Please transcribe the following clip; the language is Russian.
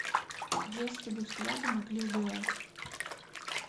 если бы взгляды могли убивать